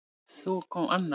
Svo kom Anna